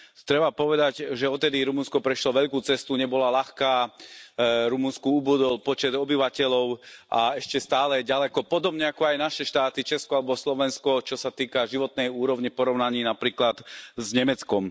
Treba povedať, že odvtedy Rumunsko prešlo veľkú cestu, nebola ľahká, Rumunsku ubudol počet obyvateľov a ešte stále je ďaleko, podobne ako aj naše štáty, Česko alebo Slovensko, čo sa týka životnej úrovne v porovnaní napríklad s Nemeckom.